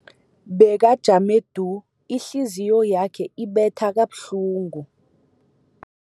Bekajame du, ihliziyo yakhe ibetha kabuhlungu.